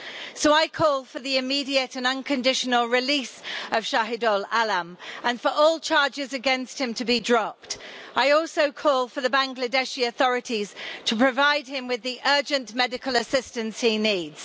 So I call for the immediate and unconditional release of Shahidul Alam and for all charges against him to be dropped. I also call for the Bangladeshi authorities to provide him with the urgent medical assistance he needs.